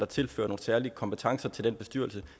tilfører nogle særlige kompetencer til den bestyrelse